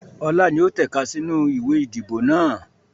Ọlá ni ó tẹ̀ka sì inú ìwé ìdìbò náà